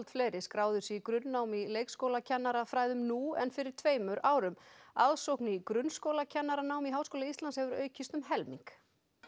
fleiri skráðu sig í grunnnám í leikskólakennarafræðum nú en fyrir tveimur árum aðsókn í grunnskólakennaranám í Háskóla Íslands hefur aukist um helming